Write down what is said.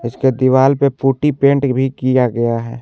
इसके दीवाल पर पुटी पेंट भी किया गया है।